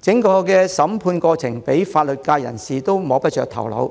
整個審判過程連法律界人士也摸不着頭腦，